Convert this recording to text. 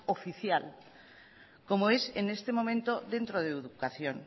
oficial como es en este momento dentro de educación